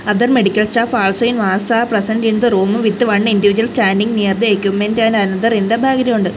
other medical staff also are present in the room with one individual standing near the equipment and another in the background.